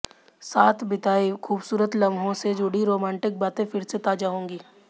साथ बिताए खूबसूरत लम्हों से जुड़ी रोमांटिक बातें फिर से ताजा होंगी